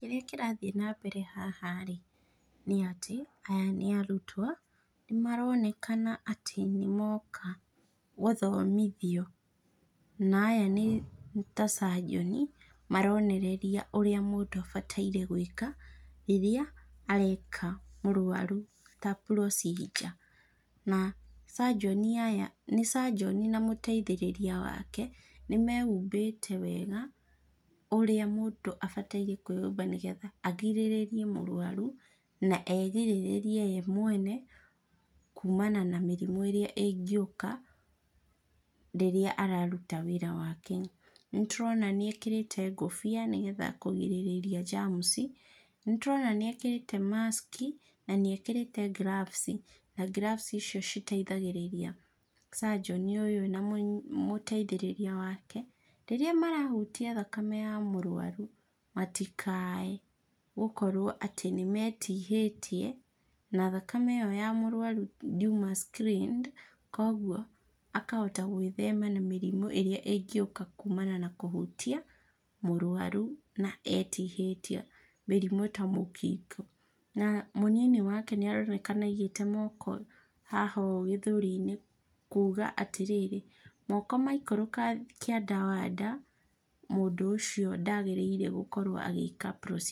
Kĩrĩa kĩrathiĩ na mbere haha rĩ nĩ atĩ, aya nĩ arutwo, nĩ maronekana atĩ nĩ moka gũthomithio na aya nĩ ta surgeon maronereria ũrĩa mũndũ abataire gwĩka rĩrĩa areka mũrwaru ta procedure na surgeon aya nĩ surgeon na mũteithĩrĩria wake, nĩ mehumbĩte wega, ũrĩa mũndũ abataire kwĩhumba, nĩgetha agirĩrĩrie mũrwaru na egirĩrĩrie we mwene kumana na mĩrimũ ĩrĩa ĩngĩũka rĩrĩa araruta wĩra wake . Nĩ tũrona nĩ ekĩrĩte ngobia nĩ kũgirĩrĩria germs, nĩ tũrona nĩ ekĩrĩte mask na nĩ ekĩrĩte gloves na gloves citeithagĩrĩria surgeon ũyũ na mũteithĩrĩria wake, rĩrĩa marahutia thakame ya mũrwaru matikaye gũkorwo atĩ nĩ metihĩtie na thakame ĩyo ya mũrwaru ndiuma screened, koguo akahota gwĩthemena na mĩrimũ ĩrĩa ĩngiũka kumana na kũhutia mũrwaru na etihĩtie, mĩrimũ ta mũkingo, na mũnini wake nĩ aronekana aigĩte moko haha gĩthũri-inĩ kuga atĩrĩrĩ, moko maikũrũka kĩanda wa nda, mũndũ ũcio ndagĩrĩire gũkorwo agĩka procedure.